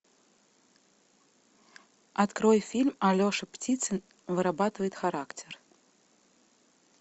открой фильм алеша птицын вырабатывает характер